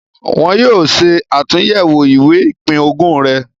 Wọn yóò ṣe àtúyẹ̀wò ìwé ìpín-ogún rẹ̀.